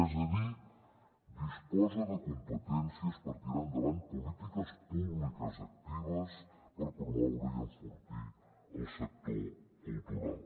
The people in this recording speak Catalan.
és a dir disposa de competències per tirar endavant polítiques públiques actives per promoure i enfortir el sector cultural